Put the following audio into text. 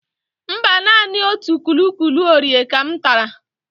Mba, naanị otu Kuki Oreo ka m tara.